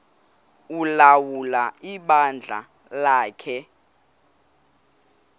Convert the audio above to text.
ulawula ibandla lakhe